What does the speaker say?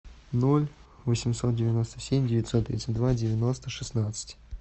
ноль восемьсот девяносто семь девятьсот тридцать два девяносто шестнадцать